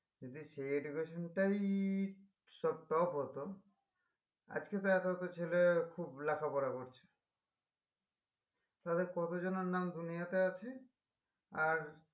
যদি সেই education টাই সব top হতো আজকে তো এত এত ছেলে খুব লেখা পড়া করছে তালে কতজনার নাম দুনিয়াতে আছে আর